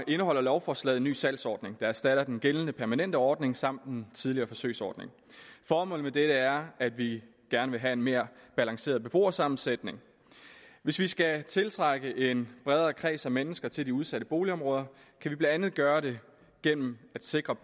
indeholder lovforslaget en ny salgsordning der erstatter den gældende permanente ordning samt en tidligere forsøgsordning formålet med dette er at vi gerne vil have en mere balanceret beboersammensætning hvis vi skal tiltrække en bredere kreds af mennesker til de udsatte boligområder kan vi blandt andet gøre det gennem at sikre